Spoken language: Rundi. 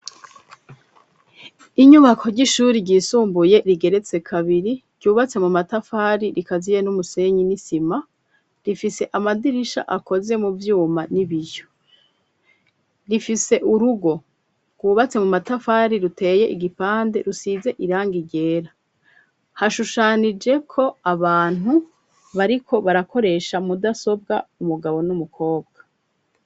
Inyubako ry'ishuri ryisumbuye rigeretse kabiri ryubatse mu matafari rikaziye n'umusenyi n'isima rifise amadirisha akoze mu vyuma n'ibirhyo rifise urugo rwubatse mu matafari ruteye igipande rusize iranga ryera hashushanije ko abantu bariko barakoresha mudasobwa umugabo n'umukobwa.